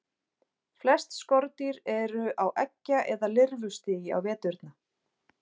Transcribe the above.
Flest skordýr eru á eggja- eða lirfustigi á veturna.